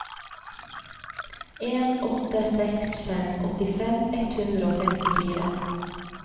en åtte seks fem åttifem ett hundre og femtifire